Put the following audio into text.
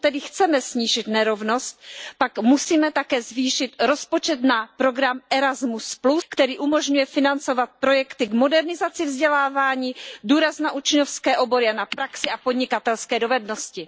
Pokud tedy chceme snížit nerovnost, pak musíme také zvýšit rozpočet na program Erasmus, který umožňuje financovat projekty k modernizaci vzdělávání, klade důraz na učňovské obory a na praxi a podnikatelské dovednosti.